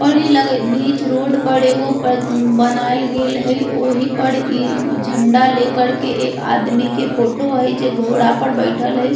और ई लग हई बीच रोड पर एगो ब बनायल गेल हई ओही पर ई झंडा ले कर के एक आदमी के फोटो हई जे घोड़ा पर बइठल हई।